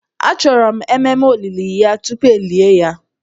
A chọrọ ememe olili ya tupu e lie ya